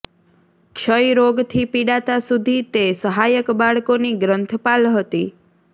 ક્ષય રોગથી પીડાતા સુધી તે સહાયક બાળકોની ગ્રંથપાલ હતી